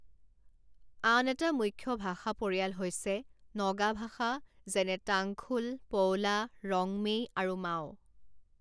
আন এটা মুখ্য ভাষা পৰিয়াল হৈছে নগা ভাষা, যেনে টাংখুল, পৌলা, ৰংমেই আৰু মাও।